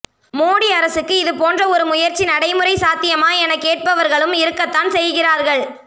மோடி அரசுக்கு இதுபோன்ற ஒரு முயற்சி நடைமுறை சாத்தியமா என கேட்பவர்களும் இருக்கத்தான் செய்கிறார்கள்